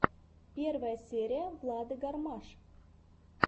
первая серия влады гармаш